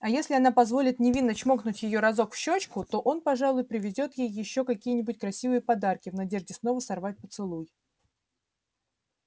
а если она позволит невинно чмокнуть её разок в щёчку то он пожалуй привезёт ей ещё какие-нибудь красивые подарки в надежде снова сорвать поцелуй